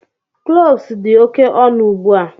Cloves dị oke ọnụ ugbu a.